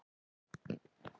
Nú já.